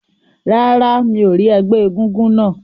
Rárá, mi ò rí ẹgbẹ́ egúngún náà.